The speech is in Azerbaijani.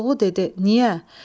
Koroğlu dedi: "Niyə?"